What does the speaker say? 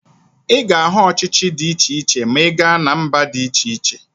Ị ga-ahụ ọchịchị dị iche iche ma ị gaa na mba dị iche iche